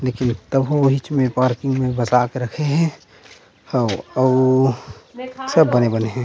लेकिन तभो ओहिइच में पार्किंग में बसा के रखे हे हव अउ सब बने बने हे।